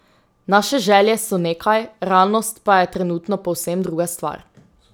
Naše želje so nekaj, realnost pa je trenutno povsem druga stvar.